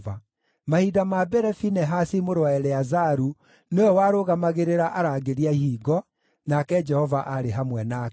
Mahinda ma mbere Finehasi mũrũ wa Eleazaru nĩwe warũgamagĩrĩra arangĩri a ihingo, nake Jehova aarĩ hamwe nake.